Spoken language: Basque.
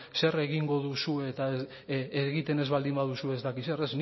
zer egingo duzuen eta egiten ez baldin baduzue ez dakit zer